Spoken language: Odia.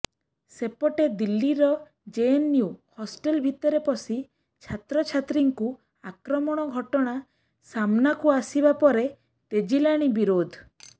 ସେପଟେ ଦିଲ୍ଲୀର ଜେଏନୟୁ ହଷ୍ଟେଲ ଭିତରେ ପଶି ଛାତ୍ରଛାତ୍ରୀଙ୍କୁ ଆକ୍ରମଣ ଘଟଣା ସାମ୍ନାକୁ ଆସିବା ପରେ ତେଜିଲାଣି ବିରୋଧ